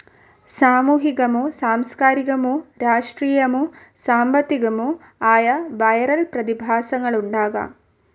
സാമൂഹികമോ സാംസ്ക്കാരികമോ രാഷ്ട്രീയമോ സാമ്പത്തികമോ ആയ വിരൽ പ്രതിഭാസങ്ങളുണ്ടാകാം.